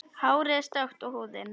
Hárið er stökkt og húðin.